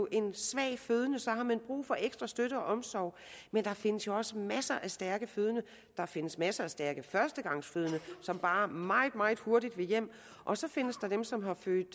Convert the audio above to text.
en svag fødende så har man brug for ekstra støtte og omsorg men der findes jo også masser af stærke fødende der findes masser af stærke førstegangsfødende som bare meget meget hurtigt vil hjem og så findes der dem som har født